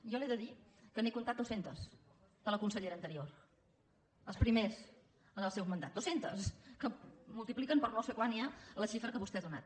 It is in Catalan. jo li he de dir que n’he comptat dues centes de la consellera anterior els primers en el seu mandat dues centes que multipliquen per no sé quant ja la xifra que vostè ha donat